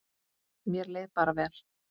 Mér leið bara vel.